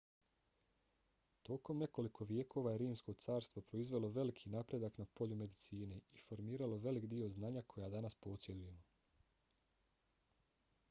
tokom nekoliko vijekova je rimsko carstvo proizvelo veliki napredak na polju medicine i formiralo velik dio znanja koja danas posjedujemo